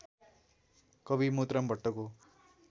कवि मोतीराम भट्टको